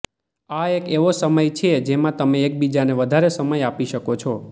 આ એક એવો સમય છે જેમાં તમે એકબીજાને વધારે સમય આપી શકો છો